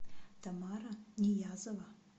тамара ниязова